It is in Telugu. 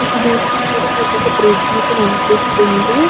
ఇక్కడ చూసి నట్టు అయితే మనకి ఒక బ్రిడ్జి అయితే కనిపిస్తుంది --